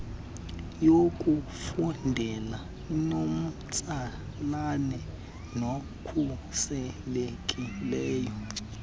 yokufundela enomtsalane nekhuselekileyo